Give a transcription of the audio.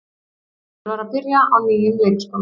Galdur var að byrja á nýjum leikskóla.